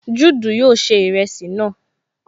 Juudu yóò ṣe ìrẹsì náà